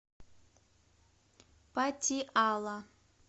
патиала